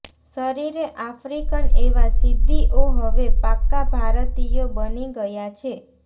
શરીરે આફ્રિકન એવા સિદ્દીઓ હવે પાક્કા ભારતીયો બની ગયા છે